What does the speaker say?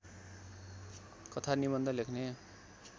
कथा निबन्ध लेख्ने